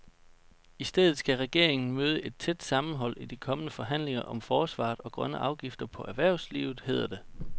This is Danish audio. I stedet skal regeringen møde et tæt sammenhold i de kommende forhandlinger om forsvaret og grønne afgifter på erhvervslivet, hedder det.